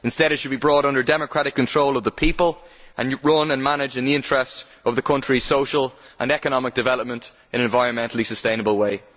Instead it should be brought under democratic control of the people, and run and managed in the interests of the countries' social and economic development in an environmentally sustainable way.